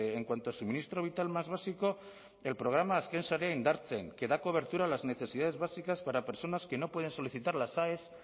en cuanto a suministro vital más básico del programa azken sarea indartzen que da cobertura a las necesidades básicas para personas que no pueden solicitar las aes